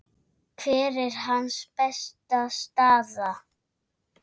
Hver er hans besta staða?